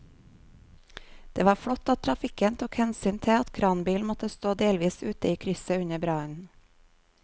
Det var flott at trafikken tok hensyn til at kranbilen måtte stå delvis ute i krysset under brannen.